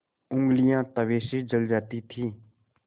ऊँगलियाँ तवे से जल जाती थीं